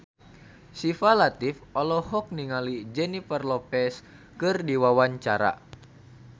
Syifa Latief olohok ningali Jennifer Lopez keur diwawancara